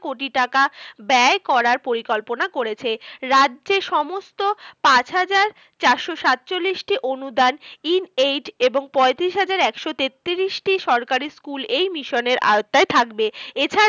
কোটি টাকা ব্যয় করার পরিকল্পনা করেছে। রাজ্যে সমস্ত পাঁচ হাজার চারশো সাতচল্লিশটি অনুদান in eight এবং পয়ত্রিশ হাজার একশো তেত্রিশটি সরকারি school এই মিশনের আওত্তায় থাকবে। এছাড়া